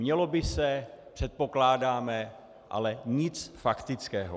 Mělo by se, předpokládáme, ale nic faktického.